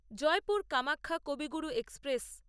Jaipur Kamakhya Kaviguru express